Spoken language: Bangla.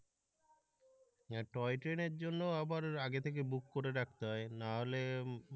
টয় ট্রেনের জন্য আবার আগে থেকে বুক করে রাখতে হয় না হলে